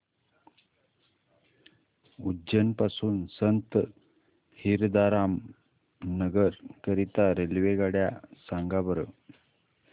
उज्जैन पासून संत हिरदाराम नगर करीता रेल्वेगाड्या सांगा बरं